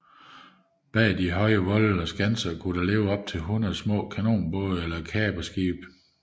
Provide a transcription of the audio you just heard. Bag de høje volde og skanser kunne der ligge op til hundrede små kanonbåde eller kaperskibe